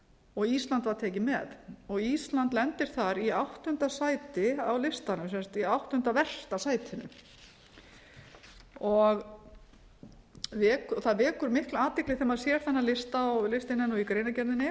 og ísland var tekið með ísland lendir þar í áttunda sæti á listanum sem sagt í áttunda versta sætinu það vekur mikla athygli þegar maður sér þennan lista og listinn er í greinargerðinni